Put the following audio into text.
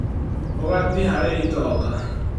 Ũgatĩ harĩ itonga